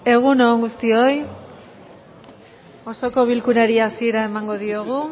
egun on guztioi osoko bilkurari hasiera emango diogu